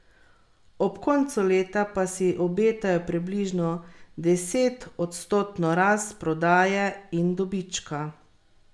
Ob koncu leta pa si obetajo približno desetodstotno rast prodaje in dobička.